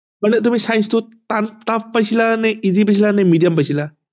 মানে তুমি science টোত টান tough পাইছিলা নে easy পাইছিলা নে medium পাইছিলা